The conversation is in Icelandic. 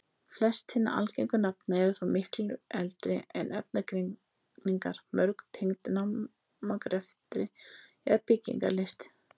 Flest hinna algengu nafna eru þó miklu eldri en efnagreiningar, mörg tengd námagreftri eða byggingarlist.